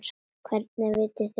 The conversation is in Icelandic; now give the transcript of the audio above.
Hvernig vitið þið það?